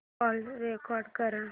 call record कर